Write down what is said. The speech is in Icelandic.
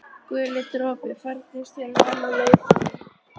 Guli dropi, farnist þér vel á leið þinni.